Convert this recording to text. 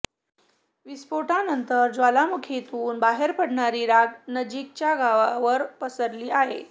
विस्फोटानंतर ज्वालामुखीतून बाहेर पडणारी राख नजीकच्या गावांवर पसरली आहे